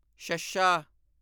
ਸ਼ੱਸ਼ਾ